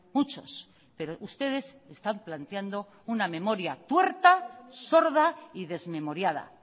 muchos pero ustedes están planteando una memoria tuerta sorda y desmemoriada